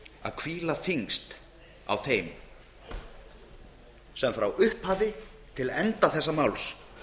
að hvíla þyngst á þeim sem frá upphafi til enda þessa máls